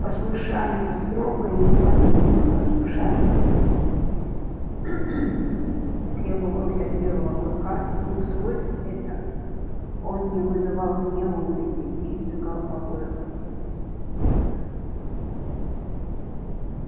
послушание строгое неуклонительное послушание требовалось от белого клыка и усвоив это он не вызывал гнева у людей и избегал побоев